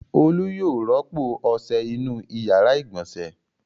Olu yóò rọ́pò ọṣẹ inú ìyàrá-ìgbọ̀nsẹ̀.